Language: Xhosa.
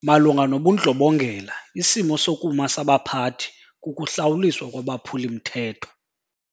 Malunga nobundlobongela isimo sokuma sabaphathi kukuhlawuliswa kwabaphuli-mthetho.